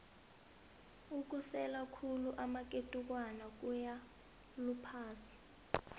ukusela khulu amaketukwana kuyaluphaza